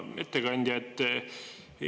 Hea ettekandja!